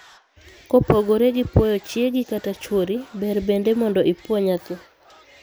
Kopogore gi puoyo chiegi kata chuori, ber bende mondo ipuo nyathi.